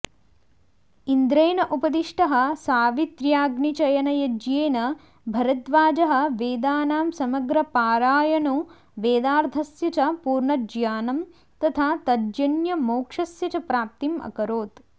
इन्द्रेण उपदिष्टः सावित्र्याग्निचयनयज्ञेन भरद्वाजः वेदानां समग्रपारायणो वेदार्थस्य च पूर्णज्ञानं तथा तज्जन्यमोक्षस्य च प्राप्तिम् अकरोत्